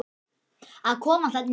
Að koma þarna inn í?